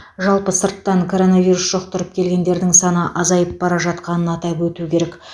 жалпы сырттан коронавирус жұқтырып келгендердің саны азайып бара жатқанын атап өту керек